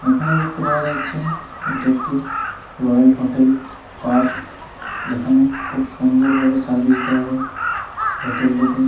এখানে দেখতে পাওয়া যাচ্ছে এটি একটি রয়েল হোটেল পার্ক । যেখানে খুব সুন্দর ভাবে সার্ভিস দেওয়া হয় । হোটেল -টিতে--